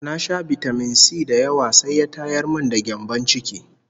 Na sha bitamin-si da yawa sai ya tayar min da gyambon ciki (olsa)